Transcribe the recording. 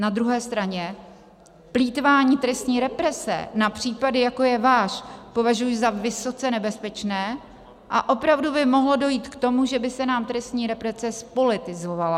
Na druhé straně plýtvání trestní represe na případy, jako je váš, považuji za vysoce nebezpečné a opravdu by mohlo dojít k tomu, že by se nám trestní represe zpolitizovala.